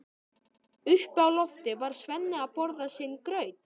Uppi á lofti var Svenni að borða sinn graut.